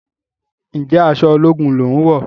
Njé aṣọ ológun lón wọ?